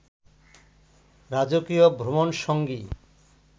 রাজকীয় ভ্রমণসঙ্গী